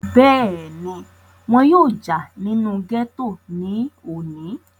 bẹ́ẹ̀ni, wọn yóò jà nínú gẹ́tò ní òní